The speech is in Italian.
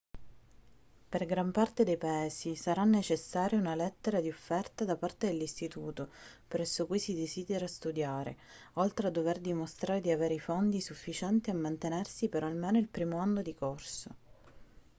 per gran parte dei paesi sarà necessaria una lettera di offerta da parte dell'istituto presso cui si desidera studiare oltre a dover dimostrare di avere i fondi sufficienti a mantenersi per almeno il primo anno di corso